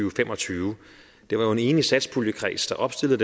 og fem og tyve det var jo en enig satspuljekreds der opstillede